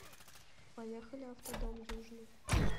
поехали автодом южный